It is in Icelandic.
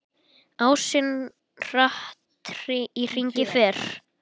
Ásinn hratt í hringi fer.